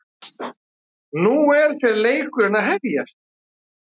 Nú er fer leikurinn að hefjast